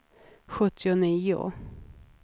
sjuttionio